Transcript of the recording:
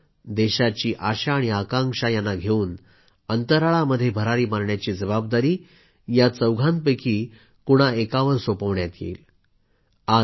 त्यानंतर देशाची आशा आणि आकांक्षा यांना घेवून अंतराळामध्ये भरारी मारण्याची जबाबदारी या चारपैकी कोणा एकावर सोपवण्यात येईल